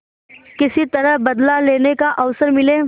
किसी तरह बदला लेने का अवसर मिले